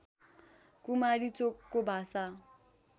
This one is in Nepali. कुमारी चोकको भाषा